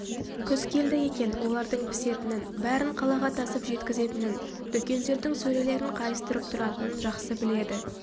күз келді екен олардын пісетінін бәрін қалаға тасып жеткізетінін дүкендердің сөрелерін қайыстырып тұратынын жақсы біледі